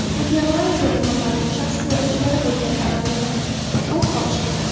Niderlandiyada noma’lum shaxs yo‘lovchilari bo‘lgan tramvayda o‘t ochdi.